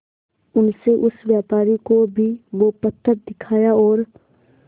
उनसे उस व्यापारी को भी वो पत्थर दिखाया और